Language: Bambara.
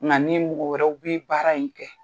Nka n'i mɔgɔw wɛrɛ u bi baara in kɛ.